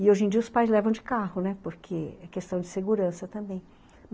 E hoje em dia os pais levam de carro, né, porque é questão de segurança também.